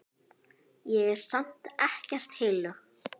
Ég er samt ekkert heilög.